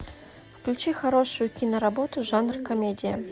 включи хорошую киноработу жанр комедия